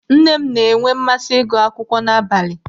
Nne m n'enwe mmasị ịgụ akwụkwọ n'abalị.